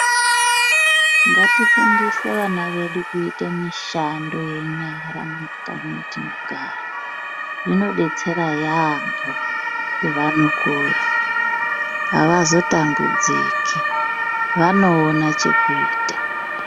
Ngati fundise vana vedu kuite mishando ye nyara mu makanyi mwatino gara zvino detsera yambo pe vano kura avazo tambudzika vano ona cheku ita.